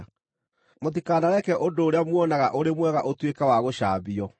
Mũtikanareke ũndũ ũrĩa muonaga ũrĩ mwega ũtuĩke wa gũcambio.